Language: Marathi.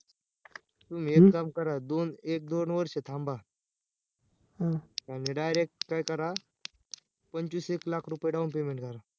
तुम्ही एक काम करा दोन एक दोन वर्ष थांबा आणि direct काय करा? पंचवीस एक लाख रुपये down payment करा